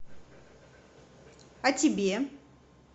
а тебе